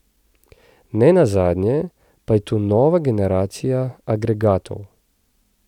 Nenazadnje pa je tu nova generacija agregatov.